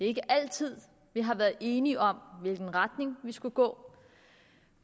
ikke altid vi har været enige om hvilken retning vi skulle gå